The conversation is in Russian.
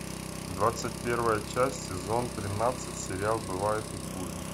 двадцать первая часть сезон тринадцать сериал бывает и хуже